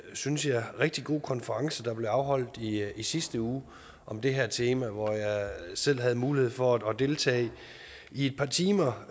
synes jeg rigtig god konference der blev afholdt i sidste uge om det her tema hvor jeg selv havde mulighed for at deltage i et par timer